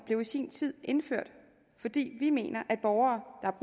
blev i sin tid indført fordi vi mener at borgere